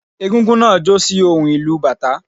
Égúngún náà jó sí ohùn ìlù u bàtá